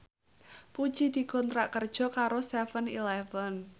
Puji dikontrak kerja karo seven eleven